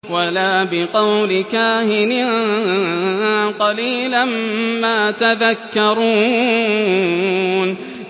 وَلَا بِقَوْلِ كَاهِنٍ ۚ قَلِيلًا مَّا تَذَكَّرُونَ